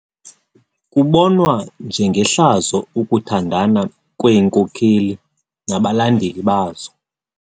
Kubonwa njengehlazo ukuthandana kweenkokeli nabalandeli bazo.